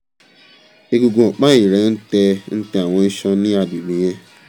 egungun ọ̀pá ẹ̀yìn rẹ ń tẹ ń tẹ àwọn iṣan ní agbègbè yẹn